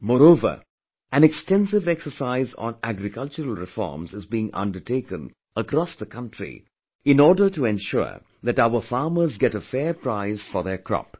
Moreover, an extensive exercise on agricultural reforms is being undertaken across the country in order to ensure that our farmers get a fair price for their crop